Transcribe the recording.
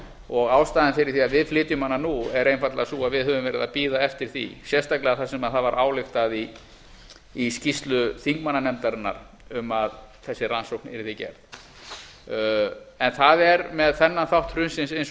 og ástæðan fyrir því að við flytjum hana nú er einfaldlega sú að við höfum verið að bíða eftir því sérstaklega þar sem það var ályktað í skýrslu þingmannanefndarinnar um að þessi rannsókn yrði gerð en það er með þennan þátt hrunsins eins